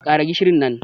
Ƙara gishin nan